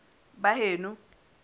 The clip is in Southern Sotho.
baheno